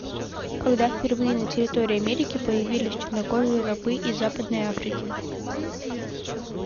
когда впервые на территории америки появились чернокожие рабы из западной африки